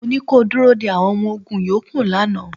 Mo ní kí o dúró de àwọn ọmọ ogún yòókù lánàá.